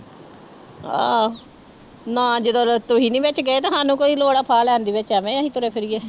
ਹਾਂ ਨਾ ਜਦੋਂ ਤੁਸੀਂ ਨੀ ਵਿੱਚ ਗਏ ਤੇ ਸਾਨੂੰ ਕੀ ਲੋੜ ਆ ਫਾਹ ਲੈਣ ਦੀ ਵਿੱਚ ਐਵੇਂ ਅਸੀਂ ਤੁਰੇ ਫਿਰੀਏ।